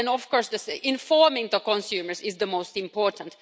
But then of course, informing the consumers is the most important.